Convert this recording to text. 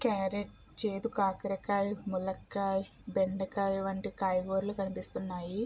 Carrot చేదు కాకరకాయ్ మునక్కాయ్ బెండకాయ వంటి కాయగూరలు కనిపిస్తూ ఉన్నాయి.